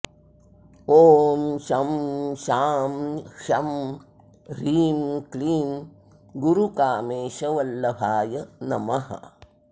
ॐ शं शां षं ह्रीं क्लीं गुरुकामेशवल्लभाय नमः